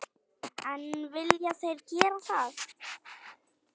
En vilja þeir gera það?